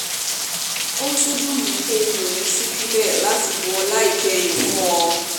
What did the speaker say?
ó tún dùn mí pé mi ò ní í sí níbẹ̀ láti bu ọlá ìkẹyìn fún ọ